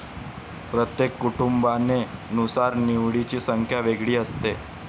प्रत्येक कुटुंबाने नुसार निवडीची संख्या वेगळी असते